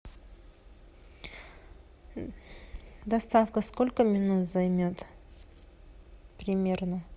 доставка сколько минут займет примерно